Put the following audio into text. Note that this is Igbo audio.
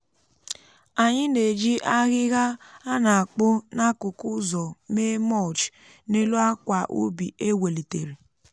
anyị na-eji ahịhịa a na-akpụ n'akụkụ ụzọ mee mulch n'elu akwa ubi e welitere.